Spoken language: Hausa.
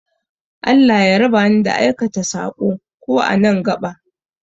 Allah ya raba ni da aikata saɓo, ko a nan gaɓa